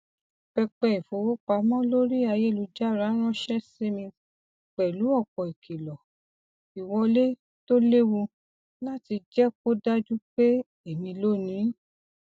pẹpẹ ìfowópamọ lórí ayélujára ránṣẹ sí mi pẹlú ọpọ ìkìlọ ìwọlé to lewu láti jẹ kó dájú pé èmi lónìí